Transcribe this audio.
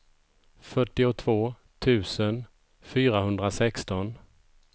fyrtiotvå tusen fyrahundrasexton